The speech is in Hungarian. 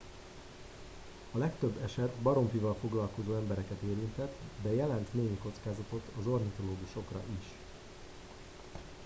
a legtöbb eset baromfival foglalkozó embereket érintett de jelent némi kockázatot az ornitológusokra is